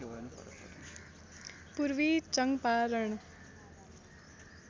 Purvi Champaran